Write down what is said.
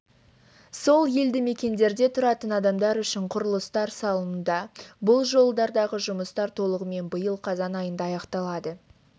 сол елдімекендерде тұратын адамдар үшін құрылыстар салынуда бұл жолдардағы жұмыстар толығымен биыл қазан айында аяқталады